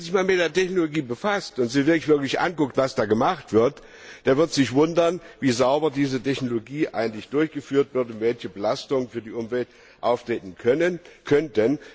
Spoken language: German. Und wer sich einmal mit der Technologie befasst und sich wirklich anschaut, was da gemacht wird, der wird sich wundern, wie sauber diese Technologie eigentlich durchgeführt wird und welche Belastungen für die Umwelt auftreten könnten.